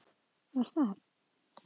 Var það